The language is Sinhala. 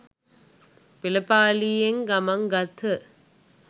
පෙළපාලියෙන් ගමන් ගත්හ.